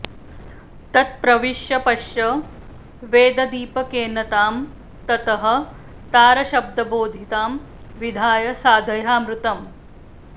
तत्प्रविश्य पश्य वेददीपकेन तां ततः तारशब्दबोधितां विधाय साधयामृतम्